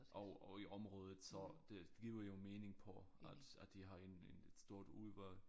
Og og i området så det giver jo mening på at at de har en en et stort udvalg